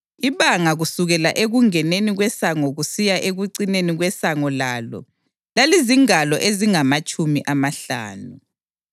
Ibanga kusukela ekungeneni kwesango kusiya ekucineni kwesango lalo lalizingalo ezingamatshumi amahlanu.